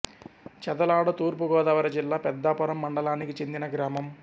చదలాడ తూర్పు గోదావరి జిల్లా పెద్దాపురం మండలానికి చెందిన గ్రామం